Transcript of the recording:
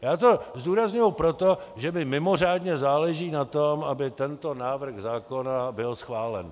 Já to zdůrazňuji proto, že mi mimořádně záleží na tom, aby tento návrh zákona byl schválen.